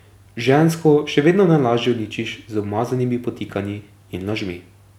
Žensko še vedno najlažje uničiš z umazanimi podtikanji in lažmi.